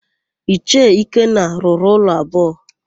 Ichie Ikenna rụrụ ụlọ abụọ.